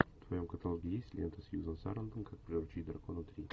в твоем каталоге есть лента сьюзен сарандон как приручить дракона три